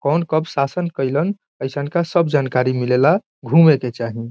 कौन कब शासन केलन एसन का सब जानकारी मिलेला घूमे के चाही।